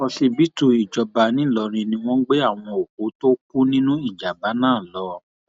òsibítù ìjọba ńìlọrin ni wọn gbé àwọn òkú tó kù nínú ìjàmbá náà lọ